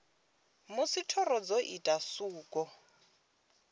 musi thoro dzo ita suko